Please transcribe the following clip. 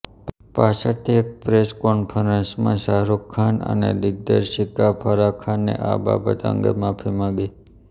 પાછળથી એક પ્રેસ કોન્ફરન્સમાં શાહરુખ ખાન અને દિગ્દર્શિકા ફરાહ ખાને આ બાબત અંગે માફી માગી